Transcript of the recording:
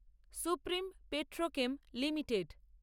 supreme Petrochem limited